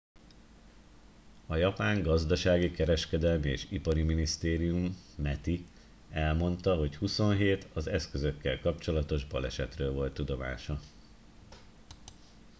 a japán gazdasági kereskedelmi és ipari minisztérium meti elmondta hogy 27 az eszközökkel kapcsolatos balesetről volt tudomása